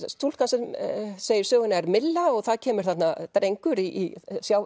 stúlkan sem segir söguna er og það kemur þarna drengur í